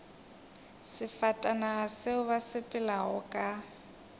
sefatanaga seo ba sepelago ka